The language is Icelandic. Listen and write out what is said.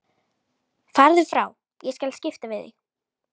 Farðu frá, ég skal skipta við þig.